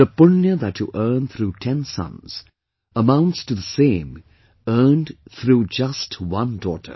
The 'Punya' that you earn through ten sons amounts to the same earned through just one daughter